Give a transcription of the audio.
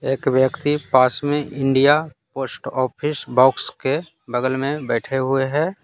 एक व्यक्ति पास में इंडिया पोस्ट ऑफिस बॉक्स के बगल में बैठे हुए हैं।